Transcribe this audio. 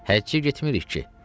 Həccə getmirik ki.